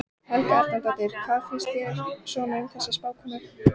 Helga Arnardóttir: Hvað fannst þér svona um þessa uppákomu?